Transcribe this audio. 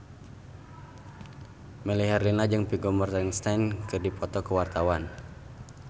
Melly Herlina jeung Vigo Mortensen keur dipoto ku wartawan